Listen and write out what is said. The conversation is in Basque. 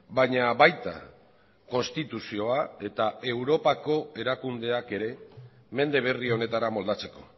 baina baita konstituzioa eta europako erakundeak ere mende berri honetara moldatzeko